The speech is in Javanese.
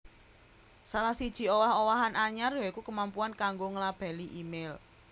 Salah siji owah owahan anyar ya iku kemampuan kanggo nglabeli email